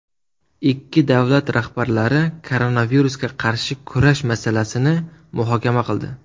Ikki davlat rahbarlari koronavirusga qarshi kurash masalasini muhokama qildi.